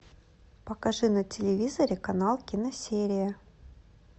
покажи на телевизоре канал киносерия